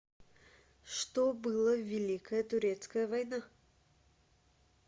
что было в великая турецкая война